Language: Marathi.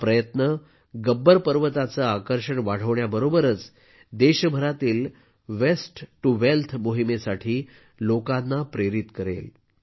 हा प्रयत्न गब्बर पर्वताचे आकर्षण वाढवण्याबरोबरच देशभरातील वेस्ट टू वेल्थ मोहिमेसाठी लोकांना प्रेरित करेल